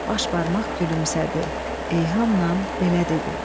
Baş barmaq gülümsədi, ilhamla belə dedi: